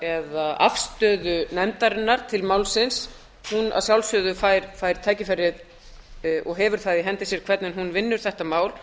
eða afstöðu nefndarinnar til málsins hún fær að sjálfsögðu tækifæri og hefur það í hendi sér hvernig hún vinnur þetta mál